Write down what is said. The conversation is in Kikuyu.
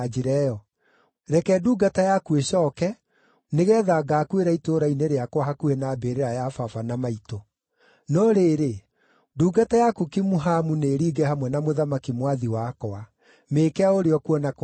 Reke ndungata yaku ĩcooke, nĩgeetha ngaakuĩra itũũra-inĩ rĩakwa hakuhĩ na mbĩrĩra ya baba na maitũ. No rĩrĩ, ndungata yaku Kimuhamu nĩĩringe hamwe na mũthamaki mwathi wakwa. Mĩĩke o ũrĩa ũkuona kwagĩrĩire.”